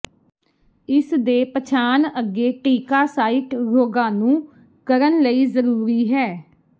ਇਸ ਦੇ ਪਛਾਣ ਅੱਗੇ ਟੀਕਾ ਸਾਈਟ ਰੋਗਾਣੂ ਕਰਨ ਲਈ ਜ਼ਰੂਰੀ ਹੈ